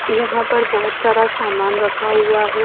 यहां पर बहुत सारा सामान रखा हुआ है।